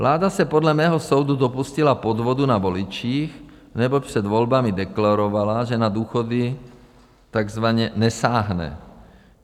Vláda se podle mého soudu dopustila podvodu na voličích, neboť před volbami deklarovala, že na důchody takzvaně nesáhne.